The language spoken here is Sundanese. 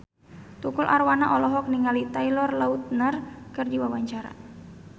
Tukul Arwana olohok ningali Taylor Lautner keur diwawancara